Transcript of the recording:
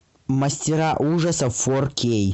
мастера ужасов фор кей